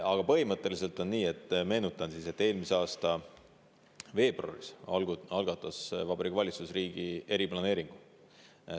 Aga põhimõtteliselt on nii, meenutan siis, et eelmise aasta veebruaris algatas Vabariigi Valitsus riigi eriplaneeringu.